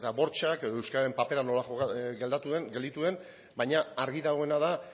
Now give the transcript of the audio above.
bortxak edo euskaren papera nola gelditu den baina argi dagoena da